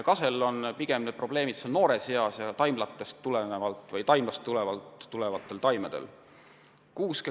Kasel on probleemid pigem noores eas ja taimlataimedel.